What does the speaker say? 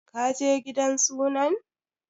Ka je gidan sunan?